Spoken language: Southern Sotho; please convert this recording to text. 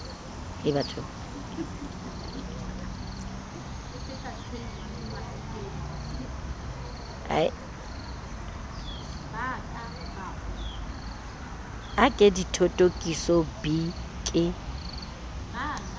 a ke dithothokiso b ke